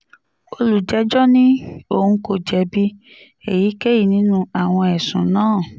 olùjẹ́jọ́ ní òun kò jẹ̀bi èyíkéyìí nínú àwọn ẹ̀sùn náà